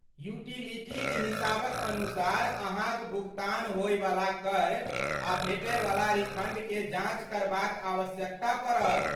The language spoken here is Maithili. यूटीलिटीक हिसाबक अनुसार अहाँक भुगतान होयवला कर आ भेटयवला रिफंडकेँ जाँच करबाक आवश्यकता पड़त।